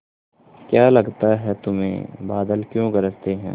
क्या लगता है तुम्हें बादल क्यों गरजते हैं